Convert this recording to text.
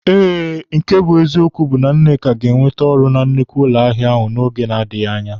Eh, nke bụ eziokwu bụ na Nneka ga-enwete ọrụ na nnukwu ụlọ ahịa n'oge na-adịghị anya